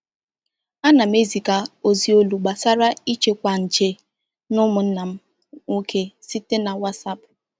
A na m eziga ozi olu gbasara ịchịkwa nje na ụmụnna m nwoke site na WhatsApp.